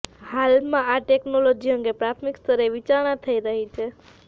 હાલમાં આ ટેક્નોલોજી અંગે પ્રાથમિક સ્તરે વિચારણા થઇ રહી છે